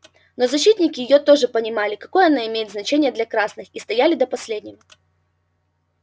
но защитники её тоже понимали какое она имеет значение для красных и стояли до последнего